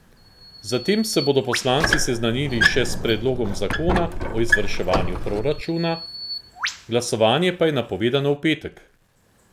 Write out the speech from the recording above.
Zatem se bodo poslanci seznanili še s predlogom zakona o izvrševanju proračuna, glasovanje pa je napovedano v petek.